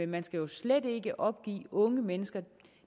man skal jo slet ikke opgive unge mennesker